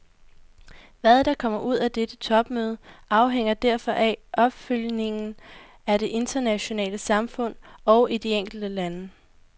Hvad der kommer ud af dette topmøde, afhænger derfor af opfølgningen i det internationale samfund og i de enkelte lande.